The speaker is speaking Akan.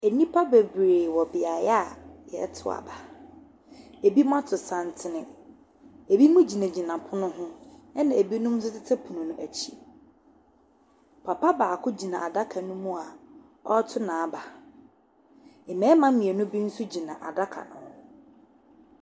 Nnipa bebree wɔ beaeɛ a wɔreto aba. Ebinom ato santene, ebinom gyinagyina pono ho, ɛnna ebinom nso tete pono no akyi. Papa baako gyina adaka no mu a ɔreto n'aba. Mmarima mmienu bi nso gyina adaka no ho.